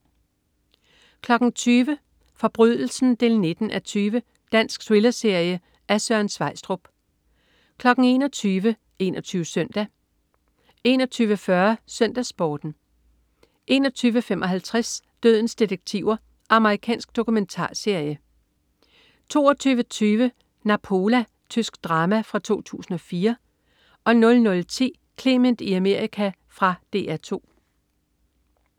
20.00 Forbrydelsen 19:20. Dansk thrillerserie af Søren Sveistrup 21.00 21 Søndag 21.40 SøndagsSporten 21.55 Dødens detektiver. Amerikansk dokumentarserie 22.20 Napola. Tysk drama fra 2004 00.10 Clement i Amerika. Fra DR 2